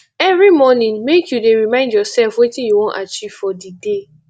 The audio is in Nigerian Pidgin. every morning make you dey remind yoursef wetin you wan achieve for di day